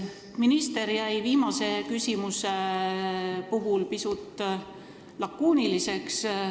Minister jäi viimase küsimuse puhul pisut lakooniliseks.